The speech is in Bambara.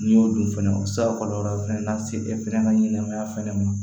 N'i y'o dun fɛnɛ o bɛ se ka kɔlɔlɔ fɛnɛ lase e fana ka ɲɛnɛmaya fɛnɛ ma